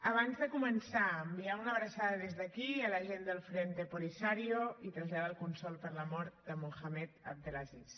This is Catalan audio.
abans de començar enviar una abraçada des d’aquí a la gent del frente polisario i traslladar el condol per la mort de mohamed abdelaziz